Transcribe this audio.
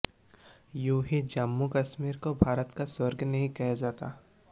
यूं ही जम्मू कश्मीर को भारत का स्वर्ग नहीं कहा जाता